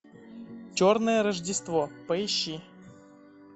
черное рождество поищи